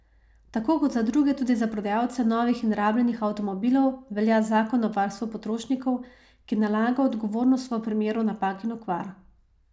Tako kot za druge tudi za prodajalce novih in rabljenih avtomobilov velja zakon o varstvu potrošnikov, ki nalaga odgovornost v primeru napak in okvar.